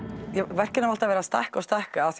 verkin hafa alltaf verið að stækka og stækka af